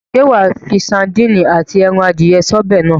Ṣé wàá fi sadíìnì àti ẹran adìye sí ọbẹ̀ náà?